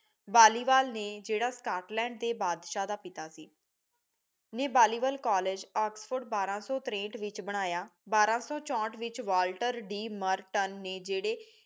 ਵਾਲੀਵਾਲ ਨੇ ਜਿਹੜਾ ਸਕਾਟਲੈੰਡ ਦੇ ਬਾਦਸ਼ਾਹ ਦਾ ਪਿਤਾ ਸੀ ਨੇ ਵਾਲੀਵਾਲ ਕਾਲੇਜ ਓਕਸਫੋਰਡ ਬਾਰਾ ਸੋ ਤਾਰੇਠ ਵਿਚ ਬਨਾਯਾ ਬਾਰਾ ਸੋ ਚੋਹਟ ਵਿਚ ਵਾਲ੍ਟਰ ਡੀ ਮਰਟਨ ਨੇ ਜਿਹੜੇ